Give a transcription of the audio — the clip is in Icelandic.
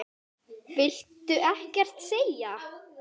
Viltu ekkert segja?